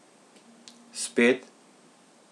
Spet?